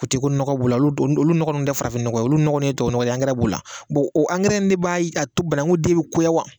U ti ko nɔgɔ b'u la olu nɔgɔ ninnu tɛ farafinnɔgɔn olu nɔgɔ ninnu ye tubabunɔnɔw ye b'u la o de b'a t'o banaku den bi koya wa?